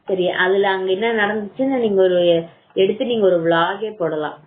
சரி அதுல என்ன நடந்துச்சுன்னு நீங்க எடுத்து ஒரு vlog போடலாம்